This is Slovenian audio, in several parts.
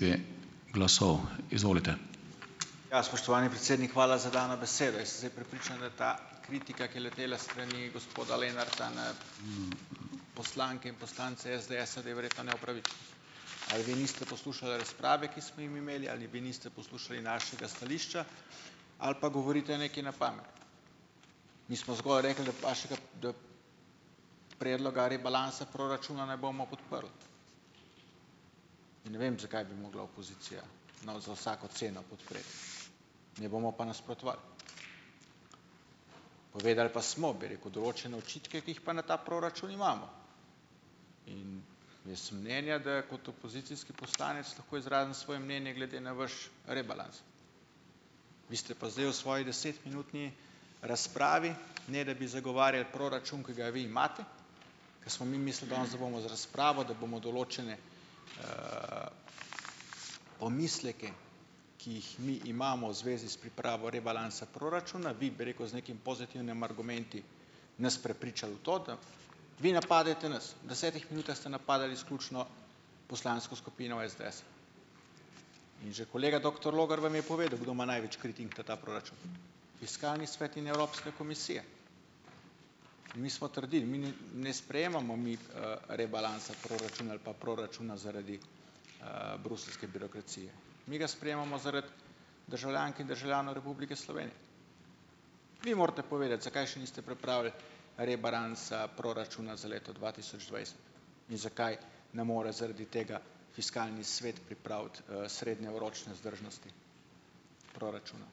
Ja, spoštovani predsednik, hvala za dano besedo. Jaz sem zdaj prepričan, da je ta kritika, ki je letela s strani gospoda Lenarta na, poslanke in poslance SDS-a, da je verjetno Ali vi niste poslušali razprave, ki smo jo mi imeli, ali vi niste slušali našega stališča ali pa govorite nekaj na pamet. Mi smo zgolj rekli, da vašega da predloga rebalansa proračuna ne bomo podprli, in ne vem zakaj bi mogla opozicija nau za vsako ceno podpreti. Ne bomo pa nasprotovali. Povedali pa smo, bi rekel, določene očitke, ki jih pa na ta proračun imamo, jaz sem mnenja, da kot opozicijski poslanec lahko izrazim svoje mnenje glede na vaš rebalans. Vi ste pa zdaj v svoji desetminutni razpravi, ne da bi zagovarjali proračun, ki ga vi imate, ke smo mi mislili danes, da bomo z razpravo, da bomo določene, pomisleke, ki jih mi imamo v zvezi s pripravo rebalansa proračuna, vi bi rekel, z nekim pozitivnimi argumenti nas prepričal v to, da vi napadajte nas, v desetih minutah ste napadali izključno poslansko skupino SDS. In že kolega doktor Logar vam je povedal, kdo ima največ kritik na ta proračun, Fiskalni svet in Evropska komisija. In mi smo trdili, mi ni ne sprejemamo mi, rebalansa proračuna ali pa proračuna zaradi, bruseljske birokracije, mi ga sprejemamo zaradi državljank in državljanov Republike Slovenije. Vi morate povedati, zakaj še niste pripravili rebalansa proračuna za leto dva tisoč dvajset in zakaj ne more zaradi tega Fiskalni svet pripraviti, srednjeročne vzdržnosti proračuna.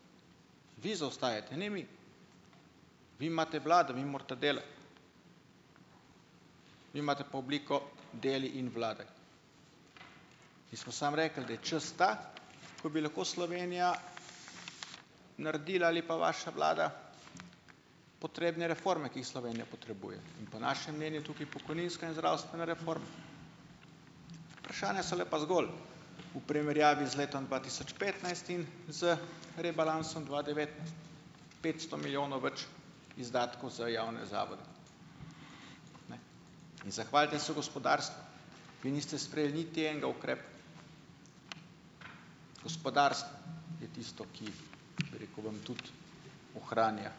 Vi zaostajate, ne mi. Vi imate vlado, vi morate delati, vi imate pa obliko deli in vladaj. Mi samo rekli, da je čas ta, ko bi lahko Slovenija naredila, ali pa vaša vlada, potrebne reforme, ki jih Slovenija potrebuje, in po našem mnenju je tukaj pokojninska in zdravstvena reforma. Vprašanja so le pa zgolj v primerjavi z letom dva tisoč petnajst in z rebalansom dva petsto milijonov več izdatkov za javne zavode. In zahvalite se Vi niste sprejeli niti enega ukrepa. Gospodarstvo je tisto, ki, bi rekel, vam tudi ohranja.